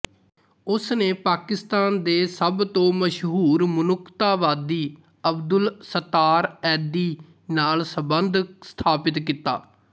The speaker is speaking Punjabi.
ਉਸ ਨੇ ਪਾਕਿਸਤਾਨ ਦੇ ਸਭ ਤੋਂ ਮਸ਼ਹੂਰ ਮਨੁੱਖਤਾਵਾਦੀ ਅਬਦੁੱਲ ਸੱਤਾਰ ਐਧੀ ਨਾਲ ਸੰਬੰਧ ਸਥਾਪਿਤ ਕੀਤਾ